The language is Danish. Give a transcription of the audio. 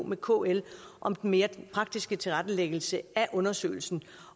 med kl om den mere praktiske tilrettelæggelse af undersøgelsen